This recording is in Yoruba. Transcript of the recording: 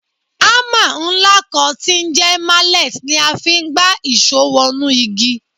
Hámà ńlá kan tí ń jẹ́ mallet ni a fi ń gbá ìṣó wọnú igi